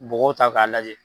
Bɔgɔw ta k'a lajɛ